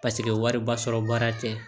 Paseke wariba sɔrɔ baara tɛ